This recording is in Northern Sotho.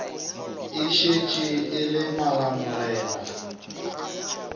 e šetše e le malamorena